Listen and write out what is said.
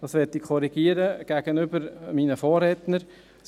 Das möchte ich gegenüber meinen Vorrednern korrigieren: